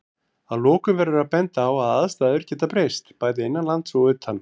Að lokum verður að benda á að aðstæður geta breyst, bæði innanlands og utan.